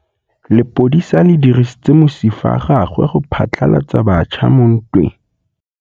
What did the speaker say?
Lepodisa le dirisitse mosifa wa gagwe go phatlalatsa batšha mo ntweng.